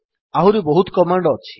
ଆହୁରି ବହୁତ କମାଣ୍ଡ୍ ଅଛି